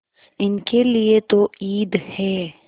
इनके लिए तो ईद है